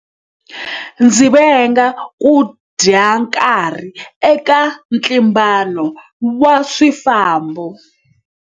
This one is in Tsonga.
Ndzi venga ku dya nkarhi eka ntlimbano wa swifambo.